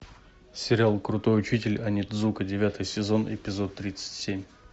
сериал крутой учитель онидзука девятый сезон эпизод тридцать семь